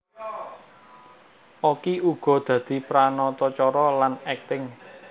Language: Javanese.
Okky uga dadi pranatacara lan akting